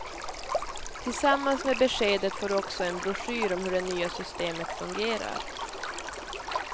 Tillsammans med beskedet får du också en broschyr om hur det nya systemet fungerar.